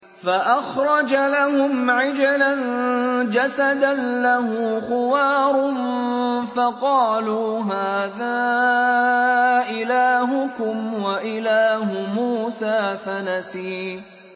فَأَخْرَجَ لَهُمْ عِجْلًا جَسَدًا لَّهُ خُوَارٌ فَقَالُوا هَٰذَا إِلَٰهُكُمْ وَإِلَٰهُ مُوسَىٰ فَنَسِيَ